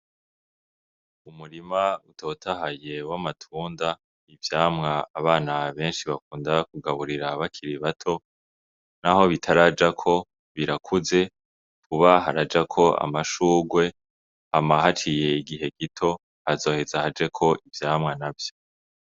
Umurima utotahaye w'amatunda ivyamwa abana beshi bakunda kugaburira bakiri bato naho bitarajako birakuze vuba harajako amashurwe hama haciye igihe gito hazoheza hajeko ivyamwa navyo.